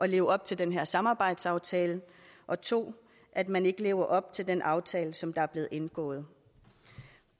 leve op til den her samarbejdsaftale og 2 at man ikke lever op til en aftale som der er blevet indgået